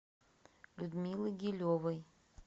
людмилы гилевой